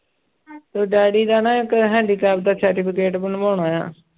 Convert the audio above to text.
ਤੇ ਡੈਡੀ ਦਾ ਨਾ ਇੱਕ handicap ਦਾ certificate ਬਣਵਾਉਣਾ ਆਂ